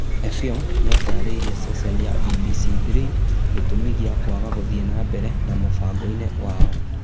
Effiong nĩatarĩirie ceceni ya BBC Three gĩtũmi gĩa kwaga gũthiĩ na mbere na mũbango-inĩ wao